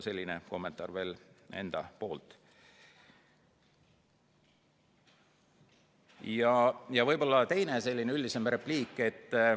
Ja teine selline üldisem repliik.